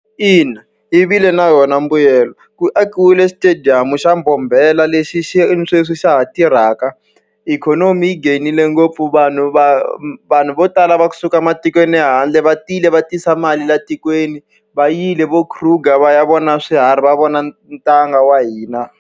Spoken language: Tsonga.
Ina yi vile na yona mbuyelo. Ku akiwile xitediyamu xa Bombomela lexi xi ni sweswi xa ha tirhaka. Ikhonomi yi geyinile ngopfu, vanhu va vanhu vo tala va kusuka ematikweni ya le handle va tiyile va tisa mali laha tikweni. Va yile vo Kruger va ya vona swiharhi, va vona ntanga wa hina.